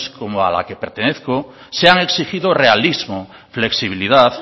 como a la que pertenezco se han exigido realismo flexibilidad